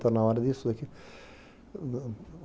Tá na hora disso, daqui?